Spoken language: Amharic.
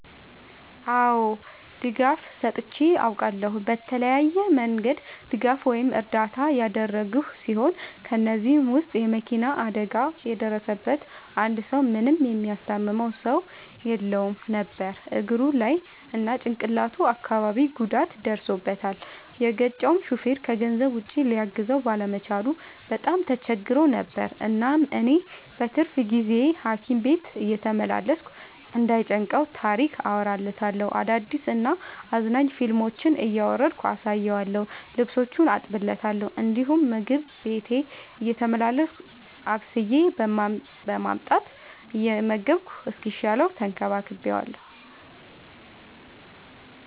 አዎ ድጋፍ ሰጥቼ አውቃለሁ። በተለያየ መንገድ ድጋፍ ወይም እርዳታ ያደረግሁ ሲሆን ከ እነዚህም ውስጥ የ መኪና አደጋ የደረሠበትን አንድ ሰው ምንም የሚያስታምመው ሰው የለውም ነበር እግሩ ላይ እና ጭቅላቱ አካባቢ ጉዳት ደርሶበታል። የገጨው ሹፌርም ከገንዘብ ውጪ ሊያግዘው ባለመቻሉ በጣም ተቸግሮ ነበር። እናም እኔ በትርፍ ጊዜዬ ሀኪም ቤት እየተመላለስኩ እንዳይ ጨንቀው ታሪክ አወራለታለሁ፤ አዳዲስ እና አዝናኝ ፊልሞችን እያወረድኩ አሳየዋለሁ። ልብሶቹን አጥብለታለሁ እንዲሁም ምግብ ቤቴ እየተመላለስኩ አብስዬ በማምጣት እየመገብኩ እስኪሻለው ተንከባክቤዋለሁ።